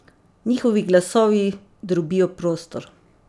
Njihovi glasovi drobijo prostor.